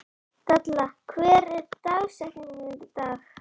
Dalla, hver er dagsetningin í dag?